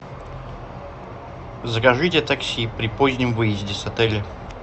закажите такси при позднем выезде с отеля